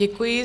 Děkuji.